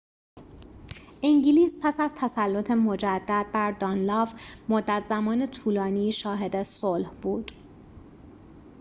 انگلیس پس از تسلط مجدد بر دانلاو مدت زمان طولانی شاهد صلح بود